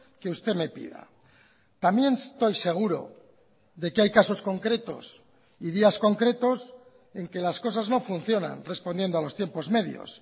que usted me pida también estoy seguro de que hay casos concretos y días concretos en que las cosas no funcionan respondiendo a los tiempos medios